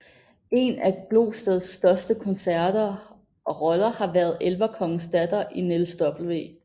En af Glosteds største koncerter og roller har været elverkongens datter i Niels W